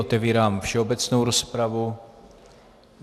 Otevírám všeobecnou rozpravu.